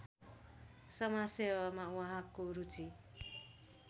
समाजसेवामा उहाँको रुचि